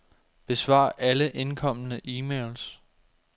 Besvar alle indkomne e-mails.